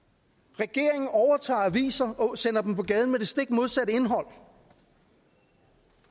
regeringen overtager aviser og sender dem på gaden med det stik modsatte indhold